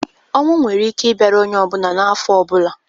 Ọnwụ nwere ike i bịara onye ọ bụla na afọ ọ bụla.